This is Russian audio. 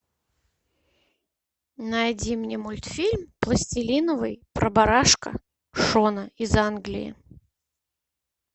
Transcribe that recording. найди мне мультфильм пластилиновый про барашка шона из англии